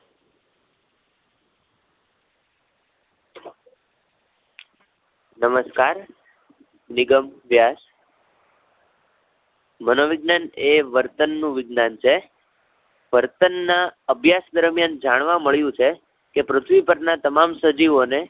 નમસ્કાર નિગમ વ્યાસ મનોવિજ્ઞાન એ વર્તન નું વિજ્ઞાન છે. વર્તન ના અભ્યાસ દરમ્યાન જાણવા મળ્યું છે કે, પૃથ્વી પર ના તમામ સજીવોને